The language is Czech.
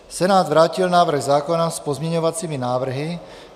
Senát vrátil návrh zákona s pozměňovacími návrhy.